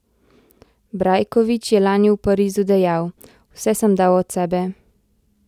Brajkovič je lani v Parizu dejal: "Vse sem dal od sebe.